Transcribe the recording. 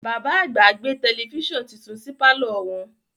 Bàbá àgbà gbé tẹlẹfísàn titun sí pàlọ́ wọn